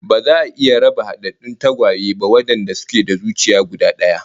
Ba za a iya raba hadaddun tagwaye ba wadanda suke da zuciya guda daya